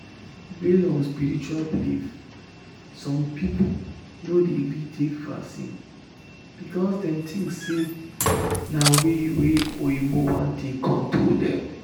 based on spiritual belief some people no dey gree take vaccine because dem think say na way wa oyinbo wan take control dem